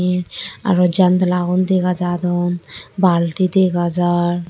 eh aro jandala gun dega jadon baldi dega jar.